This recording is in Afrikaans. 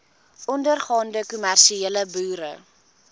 ondergaande kommersiële boere